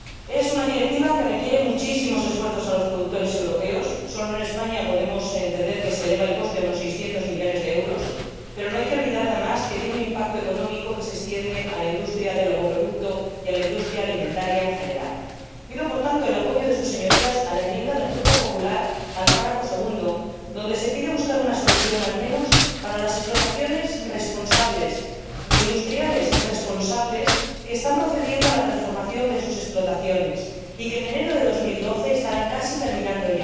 Es una Directiva que requiere muchísimos esfuerzos de los productores europeos ―solo en España podemos entender que el coste se eleva a unos 600 millones de euros―, pero no hay que olvidar, además, que tiene un impacto económico que se extiende a la industria del ovoproducto y a la industria alimentaria en general. Pido, por tanto, el apoyo de sus Señorías a la enmienda del Grupo Popular al apartado 2, en la que se pide buscar una solución al menos para las explotaciones responsables, de industriales responsables, que están procediendo a la transformación de sus explotaciones y que en enero de 2012 ya la habrán terminando.